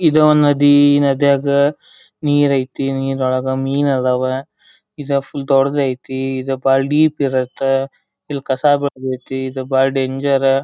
ಇದು ನದಿ ನದಿಯಾಗ ನೀರೈತಿ ನೀರೊಳಗ ಮೀನು ಅದಾವ. ಇದು ಫುಲ್ ದೊಡ್ಡದೈತಿ ಇದು ಬಾಳ ಡೀಪ್ ಇರುತ್ತೆ ಇಲ್ಲಿ ಕಸ ಬಂದೈತಿ ಇದು ಬಾಳ ಡೇಂಜರ್ .